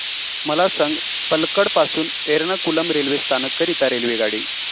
मला सांग पलक्कड पासून एर्नाकुलम रेल्वे स्थानक करीता रेल्वेगाडी